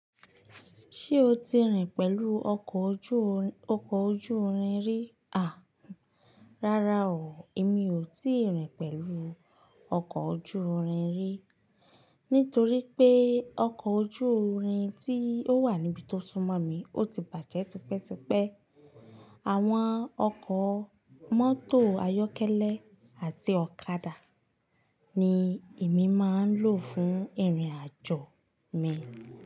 Ṣé o ti rìn pẹ̀lú ọkọ̀ ojú-rin rí? À, rárá o. Èmi ò tí ì rìn pẹ̀lú ọkọ̀ ojú-rin rí. Nítorí pé ọkọ̀ ojú-rin tí ó wà níbi tó súnmọ́ mi, ó ti bàjẹ́ tipẹ́tipẹ́. Àwọn ọkọ̀ mọ́tò ayọ́kẹ́lẹ́ àti ọ̀kadà ni èmi máa ń lò fún ìrìnàjò mi.